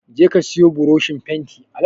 Je ka siyo buroshin fenti